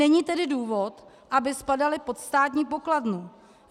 Není tedy důvod, aby spadaly pod Státní pokladnu.